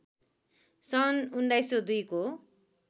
सन् १९०२ को